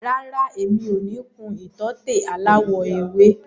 Rárá, mi ò ní kun ìtọ́tè aláwọ̀ ewé.